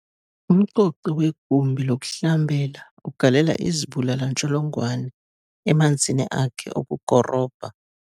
Umcoci wegumbi lokuhlambela ugalela izibulali-ntsholongwane emanzini akhe okukorobha.